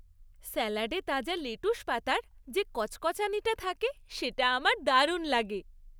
স্যালাডে তাজা লেটুস পাতার যে কচকচানিটা থাকে, সেটা আমার দারুণ লাগে।